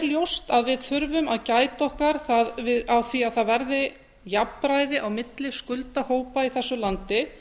ljóst að við þurfum að gæta okkar á því að það verði jafnræði á milli skuldahópa í þessu landi